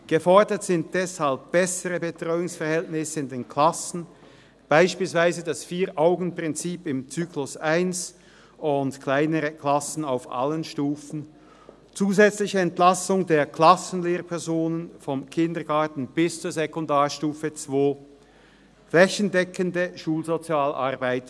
Gefordert sind deshalb bessere Betreuungsverhältnisse in den Klassen, beispielsweise das Vier-Augen-Prinzip im Zyklus 1 und kleinere Klassen auf allen Stufen, zusätzliche Entlastung der Klassenlehrpersonen vom Kindergarten bis zur Sekundarstufe II und schliesslich flächendeckende Schulsozialarbeit.